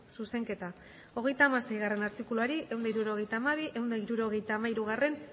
zuzenketa hogeita hamaseigarrena artikuluari ehun eta hirurogeita hamabi ehun eta hirurogeita hamairugarrena